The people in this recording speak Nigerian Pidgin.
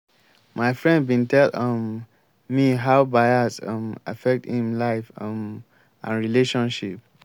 my friend bin tell um me how bias um affect im life um and relationship.